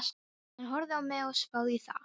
Hann horfði á mig og spáði í það.